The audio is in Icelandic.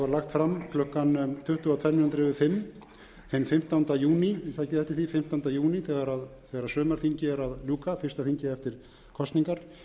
fram klukkan tuttugu og tvær mínútur yfir fimm hinn fimmtánda júní takið eftir því fimmtánda júní þegar sumarþingi er að ljúka fyrsta þingi eftir kosningar